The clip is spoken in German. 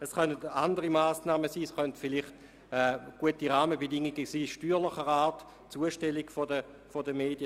Es könnten auch andere Massnahmen sein, beispielsweise gute Rahmenbedingungen steuerlicher Art oder hinsichtlich der Zustellung der Medien.